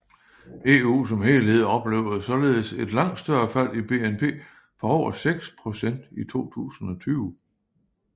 EU som helhed oplevede således et langt større fald i BNP på over 6 procent i 2020